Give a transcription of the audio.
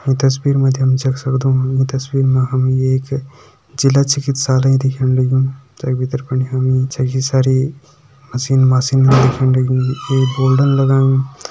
ईं तस्वीर मा जी हम देख सगदों ईं तस्वीर मा हमि एक जिला चिकित्सालय दिखेण लग्युं तैक भितर फणि हमि छकी सारी मशीन माशीन भी दिखेण लगीं एक बोर्डा लगायूं।